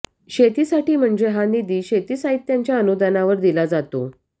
शेतीसाठी म्हणजे हा निधी शेती साहित्यांच्या अनुदानावर दिला जातो